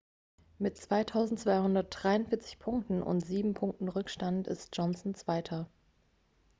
mit 2243 punkten und sieben punkten rückstand ist johnson zweiter